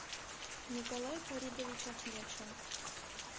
николай фаридович ахмедшин